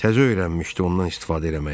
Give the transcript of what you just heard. Təzə öyrənmişdi ondan istifadə eləməyi.